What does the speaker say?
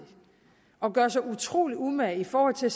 at gøre sig utrolig umage i forhold til at